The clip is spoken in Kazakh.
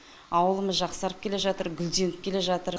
ауылымыз жақсарып келе жатыр гүлденіп келе жатыр